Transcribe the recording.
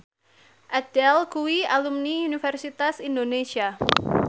Adele kuwi alumni Universitas Indonesia